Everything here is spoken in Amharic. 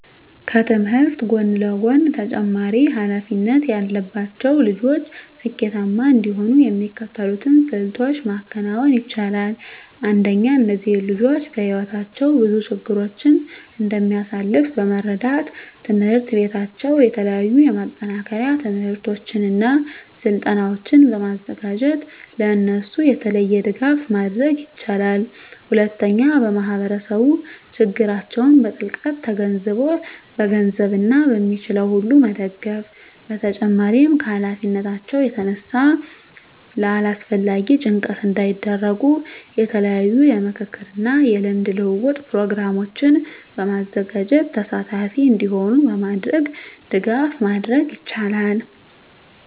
ከትምህርት ጎን ለጎን ተጨማሪ ሀላፊነት ያለባቸው ልጆች ስኬታማ እንዲሆኑ የሚከተሉትን ስልቶች ማከናወን ይቻላል። አንደኛ እነዚህ ልጆች በህይወታቸው ብዙ ችግሮችን እንደሚያሳልፍ በመረዳት ትምሕርት ቤታቸው የተለያዩ የማጠናከሪያ ትምህርቶችን እና ስልጠናዎችን በማዘጋጀት ለእነሱ የተለየ ድጋፍ ማድረግ ይችላል። ሁለተኛ ማህበረሰቡ ችግራቸውን በጥልቀት ተገንዝቦ በገንዘብ እና በሚችለው ሁሉ መደገፍ በተጨማሪም ከሀላፊነታቸው የተነሳ ለአላስፈላጊ ጭንቀት እንዳይዳረጉ የተለያዩ የምክክር እና የልምድ ልውውጥ ፕሮግራሞችን በማዘጋጀት ተሳታፊ እንዲሆኑ በማድረግ ድጋፍ ማድረግ ይቻላል።